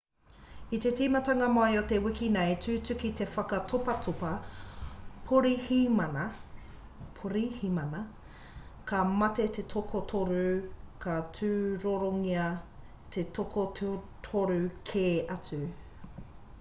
i te timatanga mai o te wiki nei i tūtuki te whaka topatopa porihimana ka mate te toko toru ka tūrorongia te toko toru kē atu